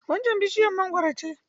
Waccan bishiyar mangwaro ce.